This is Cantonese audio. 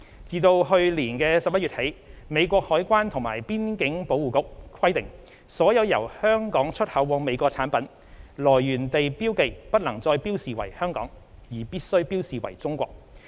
自去年11月起，美國海關及邊境保衞局規定，所有由香港出口往美國的產品，來源地標記不能再標示為"香港"，而必須標示為"中國"。